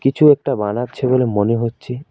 কিছু একটা বানাচ্ছে বলে মনে হচ্ছে।